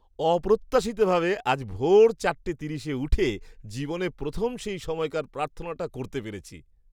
অপ্রত্যাশিতভাবে আজ ভোর চারটে তিরিশে উঠে জীবনে প্রথম সেই সময়কার প্রার্থনাটা করতে পেরেছি।